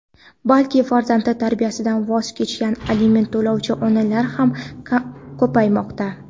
balki farzandi tarbiyasidan voz kechgan aliment to‘lovchi onalar ham ko‘paymoqda.